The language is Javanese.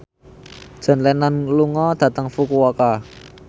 John Lennon lunga dhateng Fukuoka